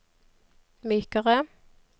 mykere